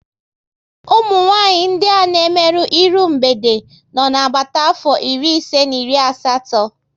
Umunwanyị ndị a na emerụ iru mgbede nọ na agbata afọ iri ise na iri asatọ